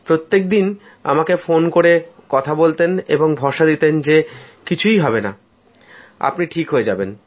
প্রত্যেক দিন আমাকে ফোন করে কথা বলতেন এবং ভরসা দিতেন যে কিছু হবে না আপনি ঠিক হয়ে যাবেন